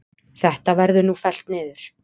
Þetta verður nú fellt niður.